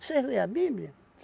Vocês lêem a Bíblia?